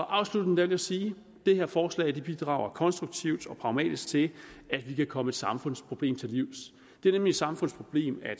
afslutning vil jeg sige at det her forslag bidrager konstruktivt og pragmatisk til at vi kan komme et samfundsproblem til livs det er nemlig et samfundsproblem at